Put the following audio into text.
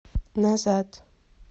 назад